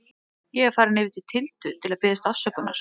Ég er farinn yfir til Tildu til að biðjast afsökunar.